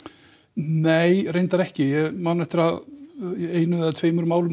nei reyndar ekki ég man eftir einu eða tveimur málum